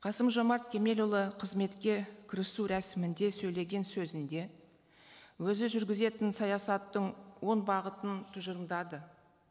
қасым жомарт кемелұлы қызметке кірісу рәсімінде сөйлеген сөзінде өзі жүргізетін саясаттың он бағытын тұжырымдады